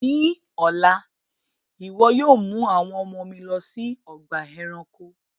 Ní ọ̀là, iwọ yóò mú àwọn ọ̀mọ mi lọ sí ọgba ẹ̀ránkò!